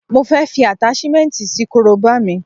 Mo fẹ́ fi Àtáṣímẹ́ǹti sí korobá mi